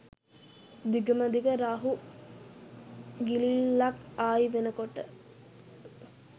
දිගම දිග රාහු ගිලිල්ලක් ආයි වෙනකොට